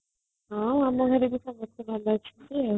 ହଁ ଆମ ଘରେ ବି ସମସ୍ତେ ଭଲ ଅଛନ୍ତି ଆଉ